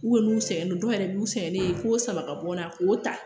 n'u sɛgɛnnen don dɔw yɛrɛ b'u sɛgɛnnen fo saba ka bɔ n na k'o ta